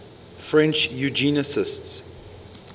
french eugenicists